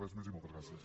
res més i moltes gràcies